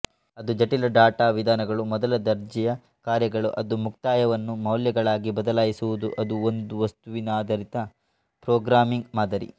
ಅವು ಜಟಿಲ ಡಾಟಾ ವಿಧಾನಗಳು ಮೊದಲದರ್ಜೆಯ ಕಾರ್ಯಗಳು ಅದು ಮುಕ್ತಾಯವನ್ನು ಮೌಲ್ಯಗಳಾಗಿ ಬದಲಾಯಿಸುವುದು ಅದೂ ಒಂದು ವಸ್ತುನಿಧಾರಿತ ಪ್ರೋಗ್ರಾಮ್ಮಿಂಗ್ ಮಾದರಿ